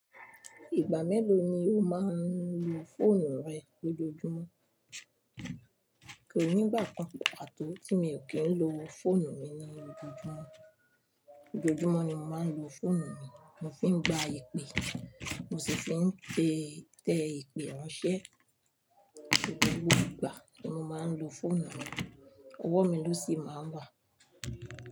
Ìgbà mélòó ni o máa ń lo fóònù rẹ lójoojúmọ́? Kò ní ìgbà kan pàto ti mi ò kí ń lo fóònù mi ní ojoojúmọ́. Ojoojúmọ́ ni mo máa ń lo fóònù mi, mo fì ń gba ipè, mo sì fi ń tẹ ipè ranṣẹ gbogbo ìgbà ní mo máa ń lo fóònù mi, owó mi ló sì máa ń wà.